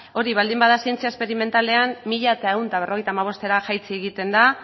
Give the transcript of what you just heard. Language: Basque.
hori baldin bada zientzia esperimentalean mila ehun eta berrogeita hamabost eurotara jaitsi egiten da